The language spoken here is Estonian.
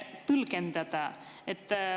Head kolleegid!